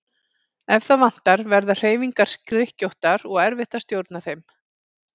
Ef það vantar verða hreyfingar skrykkjóttar og erfitt að stjórna þeim.